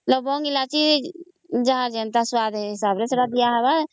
ଲବଙ୍ଗ କାର୍ଡମମ ସେତ ଯାହା ଯେମିତ ସ୍ୱାଦ ଅନୁସାରେ ଦିଆହବ